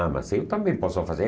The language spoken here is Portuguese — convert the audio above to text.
Ah, mas eu também posso fazer.